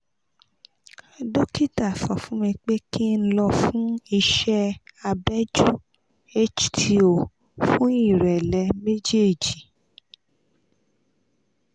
dókítà sọ fún mi pé kí n lọ fún ìṣẹ́ abẹ́jú hto fún ìrẹ́lẹ̀ méjèèjì